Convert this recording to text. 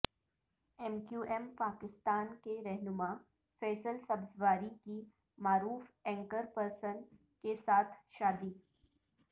M QM Pakistan کے رہنما فیصل سبزواری کی معروف اینکر پرسن کیسا تھ شا دی